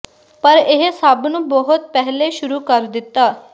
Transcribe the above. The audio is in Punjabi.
ਪਰ ਇਹ ਸਭ ਨੂੰ ਬਹੁਤ ਪਹਿਲੇ ਸ਼ੁਰੂ ਕਰ ਦਿੱਤਾ